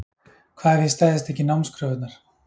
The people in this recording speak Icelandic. Hvað ef ég stæðist ekki námskröfurnar?